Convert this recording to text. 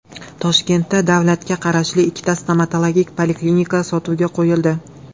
Toshkentda davlatga qarashli ikkita stomatologik poliklinika sotuvga qo‘yildi.